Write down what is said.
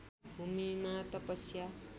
भूमिमा तपस्या